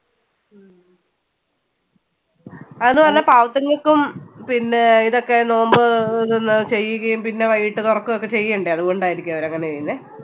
അതും അല്ല പാവത്തുങ്ങൾക്കും പിന്നെ ആഹ് ഇതൊക്കെ നോയമ്പ് അഹ് ഇതെന്നാ ചെയ്യുകയും പിന്നെ വൈകിട്ട് തൊറക്കുകയും ഒക്കെ ചെയ്യണ്ടേ. അതുകൊണ്ടായിരിക്കും അവരങ്ങനെ ചെയ്യുന്നേ.